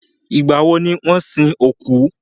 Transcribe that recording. Ìgbà wọ ni wọ́n sin òkú?